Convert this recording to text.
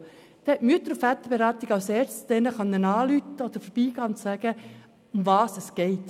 So konnten die Mütter- und Väterberatungen als Erstes diese Personen anrufen oder dort vorbeigehen und sagen, worum es geht.